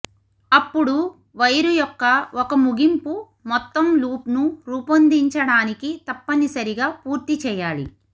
అప్పుడు వైరు యొక్క ఒక ముగింపు మొత్తం లూప్ను రూపొందించడానికి తప్పనిసరిగా పూర్తి చేయాలి